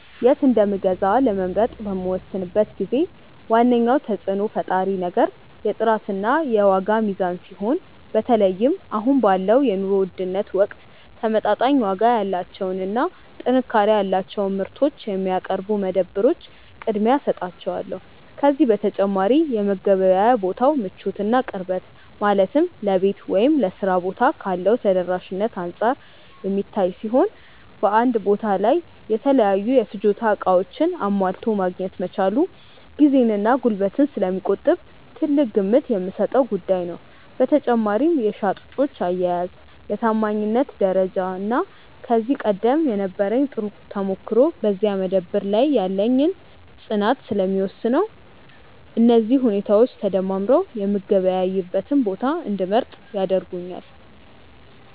የት እንደምገዛ ለመምረጥ በምወስንበት ጊዜ ዋነኛው ተጽዕኖ ፈጣሪ ነገር የጥራትና የዋጋ ሚዛን ሲሆን፣ በተለይም አሁን ባለው የኑሮ ውድነት ወቅት ተመጣጣኝ ዋጋ ያላቸውንና ጥንካሬ ያላቸውን ምርቶች የሚያቀርቡ መደብሮች ቅድሚያ እሰጣቸዋለሁ። ከዚህ በተጨማሪ የመገበያያ ቦታው ምቾትና ቅርበት፣ ማለትም ለቤት ወይም ለሥራ ቦታ ካለው ተደራሽነት አንጻር የሚታይ ሲሆን፣ በአንድ ቦታ ላይ የተለያዩ የፍጆታ ዕቃዎችን አሟልቶ ማግኘት መቻሉም ጊዜንና ጉልበትን ስለሚቆጥብ ትልቅ ግምት የምሰጠው ጉዳይ ነው። በመጨረሻም የሻጮች አያያዝ፣ የታማኝነት ደረጃና ከዚህ ቀደም የነበረኝ ጥሩ ተሞክሮ በዚያ መደብር ላይ ያለኝን ፅናት ስለሚወስነው፣ እነዚህ ሁኔታዎች ተደማምረው የምገበያይበትን ቦታ እንድመርጥ ያደርጉኛል።